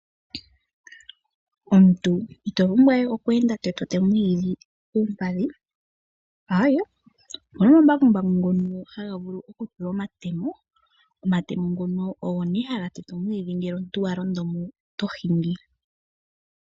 Omuntu ito pumbwa we okweenda to tetemo omwiidhi koompadhi aawe okuna omambakumbaku ngono haga vulu okutulwa omatemo , omatemo ngono ogo nee haga vulu okuteta omwiidhi ngele omuntu walondo mo eto hingi.